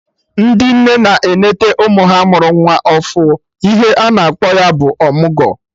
Ndị nne na-enete ụmụ ha mụrụ nwa ọfụ, ihe ana akpọ ya bụ ọmụgwọ